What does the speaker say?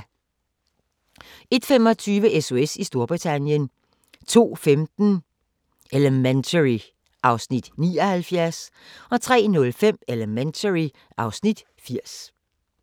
01:25: SOS i Storbritannien 02:15: Elementary (Afs. 79) 03:05: Elementary (Afs. 80)